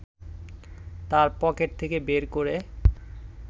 তাঁর পকেট থেকে বের করে